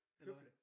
Høflig